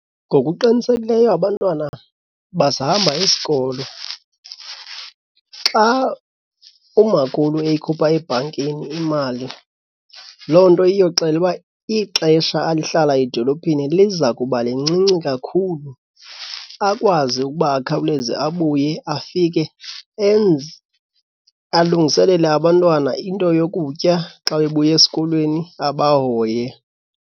Ngokuqinisekileyo abantwana basahamba isikolo. Xa umakhulu eyikhupha ebhankini imali loo nto iyoxela uba ixesha alihlala edolophini liza kuba lincinci kakhulu. Akwazi ukuba akhawuleze abuye afike enze alungiselele abantwana into yokutya xa bebuya esikolweni, abahoye.